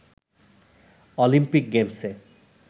Olympic গেমসে